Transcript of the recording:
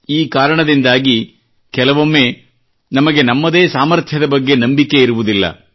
ಈ ಕಾರಣದಿಂದಾಗಿ ಕೆಲವೊಮ್ಮೆ ನಮಗೆ ನಮ್ಮದೇ ಸಾಮರ್ಥ್ಯದ ಬಗ್ಗೆ ನಂಬಿಕೆ ಇರುವುದಿಲ್ಲ